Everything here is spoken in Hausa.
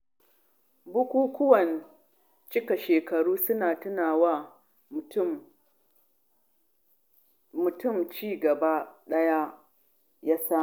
Bukukuwan cika shekara suna tuna wa mutum ci gaban da ya samu.